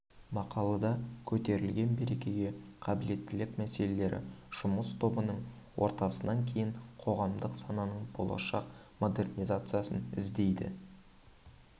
мақалада көтерілген бәсекеге қабілеттілік мәселелері жұмыс тобының отырысынан кейін қоғамдық сананың болашақ модернизациясын іздейді